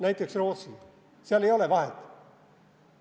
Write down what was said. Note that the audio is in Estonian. Näiteks Rootsi, seal ei ole vahet.